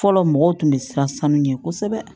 Fɔlɔ mɔgɔw tun bɛ siran sanu ɲɛ kosɛbɛ